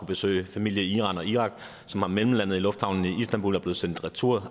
besøge familie i iran og irak som er mellemlandet i lufthavnen i istanbul og er blevet sendt retur